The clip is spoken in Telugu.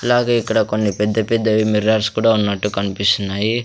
అలాగే ఇక్కడ కొన్ని పెద్ద పెద్ద మిర్రర్స్ కూడా ఉన్నట్టు కనిపిస్తున్నాయి.